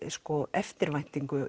eftirvæntingu